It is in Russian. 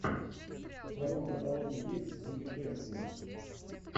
в твоем каталоге есть путешествие